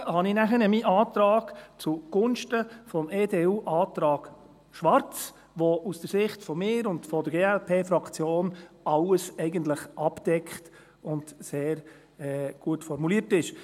Zurückgezogen habe ich meinen Antrag danach zugunsten des Antrags EDU/ Schwarz, der aus der Sicht von mir und der Glp-Fraktion eigentlich alles abdeckt und sehr gut formuliert ist.